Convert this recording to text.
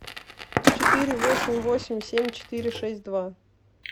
четыре восемь восемь семь четыре шесть два